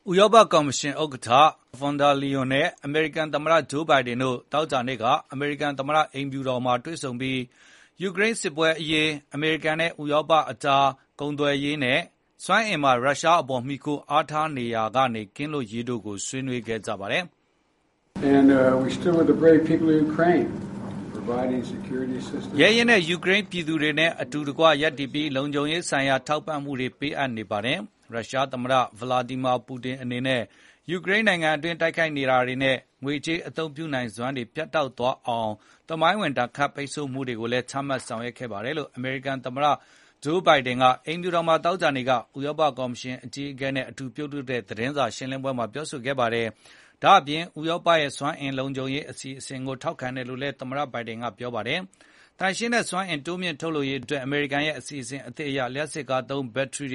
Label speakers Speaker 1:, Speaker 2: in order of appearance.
Speaker 1: ဥရောပ ကော်မရှင် ဥက္ကဌ Ursula von der Leyen နဲ့ အမေရိကန် သမ္မတ Joe Biden တို့ သောကြာနေ့က အမေရိကန် သမ္မတ အိမ်ဖြူတော်မှာ တွေ့ဆုံပြီး ယူကရိန်း စစ်ပွဲ အရေး၊ အမေရိကန်နဲ့ ဥရောပ သမဂ္ဂ EU ကြား ကုန်သွယ်ရေးနဲ့ စွမ်းအင် အရေး ရုရှားထံ မှီခိုရမှုကနေ လွတ်ကင်းရေး တို့ကို ဆွေးနွေးကြပါတယ်။ “ရဲရင့်တဲ့ ယူကရိန်း ပြည်သူတို့နဲ့ အတူတကွ ရပ်တည်ပြီး လုံခြုံရေး ဆိုင်ရာ ထောက်ပံ့မှုတွေ ပေးအပ်နေကြောင်း၊ ရုရှား သမ္မတ Vladimir Putin အနေနဲ့ ယူကရိန်း နိုင်ငံတွင်း တိုက်ခိုက်ရေးနဲ့ ငွေကြေး အသုံးပြုနိုင်စွမ်းကို ပြတ်တောက်သွားစေတဲ့ သမိုင်းဝင် ဒဏ်ခတ်ပိတ်ဆို့မှုတွေကိုလည်း ချမှတ်ဆောင်ရွက်နေကြောင်း အမေရိကန် သမ္မတ Biden က ပြောဆိုခဲ့တာပါ။” အမေရိကန် သမ္မတ အိမ်ဖြူတော်မှာ သောကြာနေ့က ဥရောပ ကော်မရှင် အကြီးအကဲနဲ့ အတူ သတင်းထောက်တွေကို အခုလို ပြောဆိုတာ ဖြစ်ပါတယ်။ ဒါ့အပြင် ဥရောပရဲ့ စွမ်းအင် လုံခြုံရေး အတွက်လည်း ထောက်ခံကြောင်း အမေရိကန် သမ္မတက ပြောဆိုခဲ့ပါတယ်။ သန့်စင်စွမ်းအင်ဆိုင်ရာ မြှင့်တင်ရေး အမေရိကန်ရဲ့ အစီအစဉ်သစ် အရ လျှပ်စစ်ကားသုံး ဘက်ထရီတ